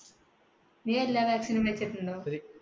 നീ എല്ലാ vaccine നും വെച്ചിട്ടുണ്ടൊ?